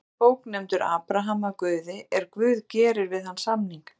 Mósebók nefndur Abraham af Guði er Guð gerir við hann samning: